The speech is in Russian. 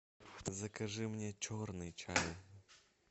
закажи мне черный чай